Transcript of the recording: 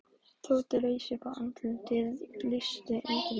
Tóti reis upp og andlitið lýsti undrun.